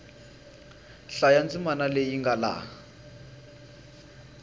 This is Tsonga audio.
hlaya ndzimana leyi nga laha